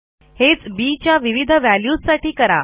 हेच बी च्या विविध व्हॅल्यूज साठी करा